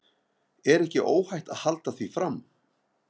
Er ekki óhætt að halda því fram?